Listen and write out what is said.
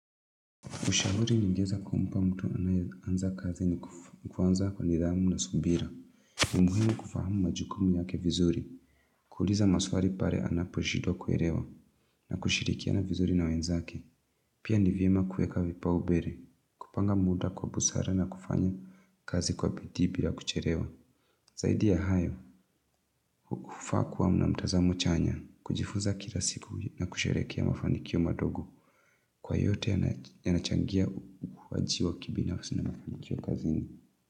Ushauri ningeza kumpa mtu anaye anza kazi ni kuanza kwa nidhamu na subira. Muhimu kufahamu majukumu yake vizuri. Kuuliza maswali pale anaposhindwa kuelewa na kushirikiana vizuri na wenzake. Pia ni vyema kuweka vipa umbele, kupanga muda kwa busara na kufanya kazi kwa bidii bila kuchelewa. Zaidi ya hayo, kufakuwa mnamtazamo chanya, kujifunza kila siku na kusherehekea mafanikio madogo. Kwa yote yanachangia wajiwa kibinafsi na mafanikio kazini.